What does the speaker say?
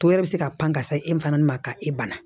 To yɛrɛ bɛ se ka pan ka se e fana ma ka e bana